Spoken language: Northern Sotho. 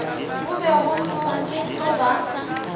go be go tlo ba